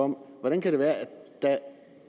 hvordan kan det være at da